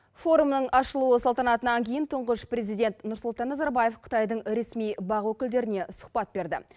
форумның ашылу салтанатынан кейн тұнғыш президент нұрсұлтан назарбаев қытайдын ресми бақ өкілдеріне сұхбат берді